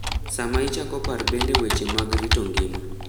Sama ichoko par bende weche mag rito ngima.